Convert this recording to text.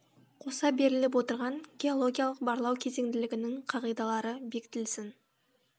қоса беріліп отырған геологиялық барлау кезеңділігінің қағидалары бекітілсін